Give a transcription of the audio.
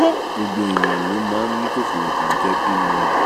gbogbo èèyàn ló máa ń ní kòkòrò tó ń jẹ́ pinworm